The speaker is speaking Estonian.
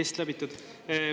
Test läbitud?